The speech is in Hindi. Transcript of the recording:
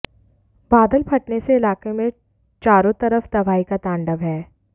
बादल फटने से इलाके में चारों तरफ तबाही का तांडव है